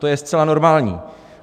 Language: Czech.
To je zcela normální.